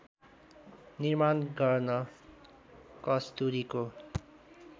निर्माण गर्न कस्तुरीको